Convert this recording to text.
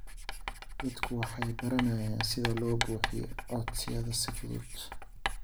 Dadku waxay baranayaan sida loo buuxiyo codsiyada si fudud.